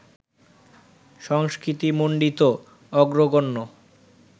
সংস্কৃতিমণ্ডিত অগ্রগণ্য